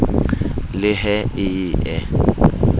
le he e ye e